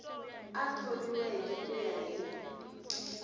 a thoriweke ku ya hi